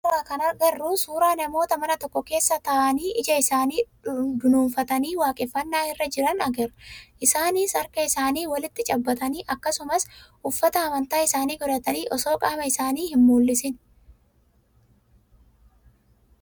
Suuraa kanarraa kan agarru suuraa namoota mana tokko keessa tataa'anii ija isaanii dunuunfatanii waaqeffannaa irra jiran agarra. Isaanis harka isaanii waliin cabbaxanii akkasumas uffata amantaa isaanii godhatanii osoo qaama isaanii hin mul'isiini.